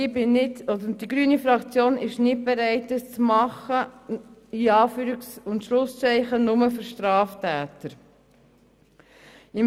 Die grüne Fraktion ist nicht bereit das «nur für Straftäter» zu tun.